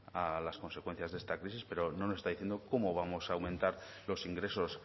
a las consecuencias de esta crisis pero no nos está diciendo cómo vamos a aumentar los ingresos